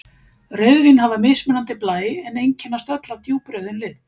Rauðvín hafa mismunandi blæ en einkennast öll af djúprauðum lit.